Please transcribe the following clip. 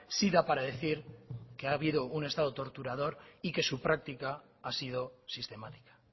sí da para decir que ha habido un estado torturador y que su práctica ha sido sistemática